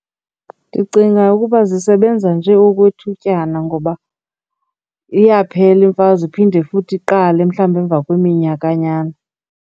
Ndicinga ukuba zisebenza njee okwethutyana ngoba iyaphela imfazwe iphinde futhi iqale mhlawumbi emva kweminyakanyana.